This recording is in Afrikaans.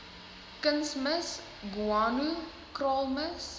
kunsmis ghwano kraalmis